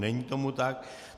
Není tomu tak.